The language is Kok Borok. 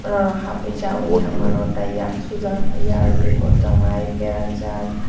norog hapoi chawi tang mano tei yak sujakh yak ni bo sangnai berajak.